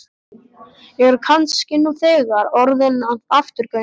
Ég er kannski nú þegar orðinn að afturgöngu.